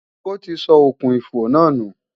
Ó ti sọ okùn-ìfò náà nù